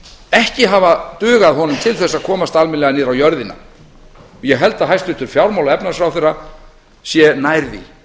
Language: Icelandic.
ekki hafa dugað honum til þess að komast almennilega niður á jörðina og ég held að hæstvirtur fjármála og efnahagsráðherra sé nær því